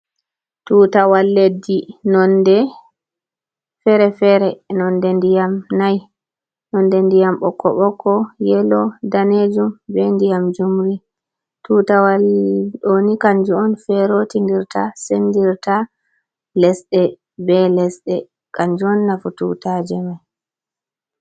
Tutaawal leddi nonde fere-fere nonde ndiyam nai nonde ndiyam ɓokko ɓokko yellow danejum be ndiyam jumri, tutawal ɗoni kanju on fero tindirta sendirta lesde be lesde kanjuon nafu tutaje mai.